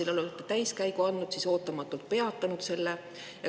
Te olete protsessile täiskäigu andnud, siis aga ootamatult peatanud selle.